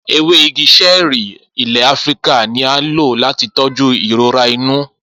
Ewe igi ṣẹẹri ile Afirika ni a lo lati tọju irora inu.